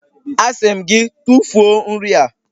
Asị m gị, tụfuo nri a!